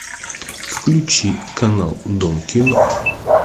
включи канал дом кино